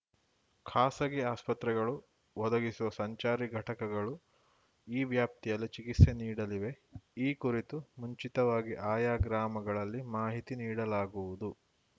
ಖಾಸಗಿ ಆಸ್ಪತ್ರೆಗಳು ಒದಗಿಸುವ ಸಂಚಾರಿ ಘಟಕಗಳು ಈ ವ್ಯಾಪ್ತಿಯಲ್ಲಿ ಚಿಕಿತ್ಸೆ ನೀಡಲಿವೆ ಈ ಕುರಿತು ಮುಂಚಿತವಾಗಿ ಆಯಾ ಗ್ರಾಮಗಳಲ್ಲಿ ಮಾಹಿತಿ ನೀಡಲಾಗುವುದು